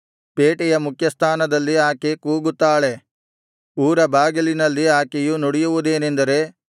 ಪೇಟೆಯ ಮುಖ್ಯಸ್ಥಾನದಲ್ಲಿ ಆಕೆ ಕೂಗುತ್ತಾಳೆ ಊರ ಬಾಗಿಲಿನಲ್ಲಿ ಆಕೆಯು ನುಡಿಯುವುದೇನೆಂದರೆ